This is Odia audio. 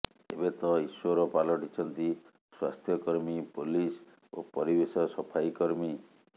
ଏବେ ତ ଈଶ୍ୱର ପାଲଟିଛନ୍ତି ସ୍ୱାସ୍ଥ୍ୟକର୍ମୀ ପୋଲିସ ଓ ପରିବେଶ ସଫାଇ କର୍ମୀ